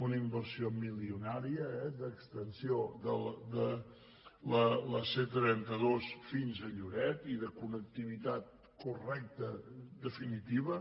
una inversió milionària d’extensió de la c·trenta dos fins a lloret i de connectivitat correcta en definitiva